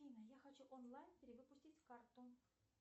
афина я хочу онлайн перевыпустить карту